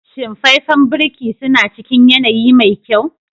Shin faifen birki suna cikin yanayi mai kyau?